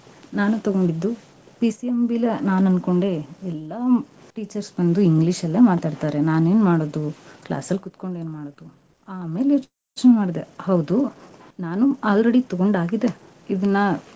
ನಾನು ತಗೊಂಡಿದ್ದು, PCMB ಲಿ ನಾನ್ ಅನ್ಕೊಂಡೆ ಎಲ್ಲಾ ಹ್ಮ್ teachers ಬಂದು english ಅಲ್ಲೇ ಮಾತಾಡ್ತಾರೆ, ನಾನೇನ್ ಮಾಡೋದು class ಅಲ್ ಕುತ್ಕೊಂಡ್ ಏನ್ ಮಾಡೋದು? ಆಮ್ಯಾಲೆ ಯೋಚ್ನೆ ಮಾಡ್ದೆ, ಹೌದು, ನಾನೂ already ತಗೊಂಡ್ ಆಗಿದೆ, ಇದ್ನಾ.